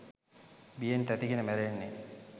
බියෙන් තැති ගෙන මැරෙන්නේ?